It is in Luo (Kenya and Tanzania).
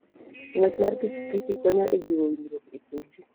Ng'wech mar pikipiki konyo e jiwo winjruok e kind ji.